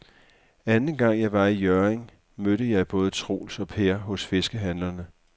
Anden gang jeg var i Hjørring, mødte jeg både Troels og Per hos fiskehandlerne.